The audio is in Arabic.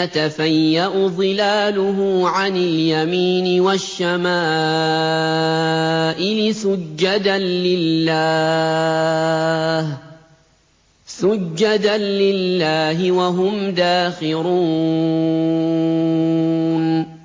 يَتَفَيَّأُ ظِلَالُهُ عَنِ الْيَمِينِ وَالشَّمَائِلِ سُجَّدًا لِّلَّهِ وَهُمْ دَاخِرُونَ